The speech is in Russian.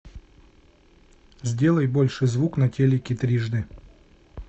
сделай больше звук на телике трижды